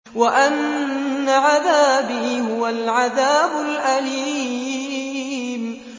وَأَنَّ عَذَابِي هُوَ الْعَذَابُ الْأَلِيمُ